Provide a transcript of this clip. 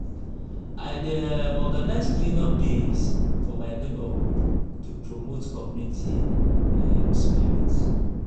i dey um organize clean-up days for my neighborhood to promote community um spirit.